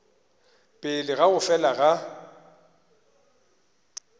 pele ga go fela ga